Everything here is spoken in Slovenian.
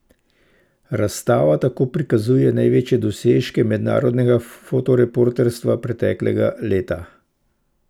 Razstava tako prikazuje največje dosežke mednarodnega fotoreporterstva preteklega leta.